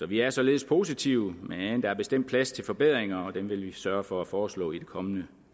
vi er således positive men der er bestemt plads til forbedringer og dem vil vi sørge for at foreslå i det kommende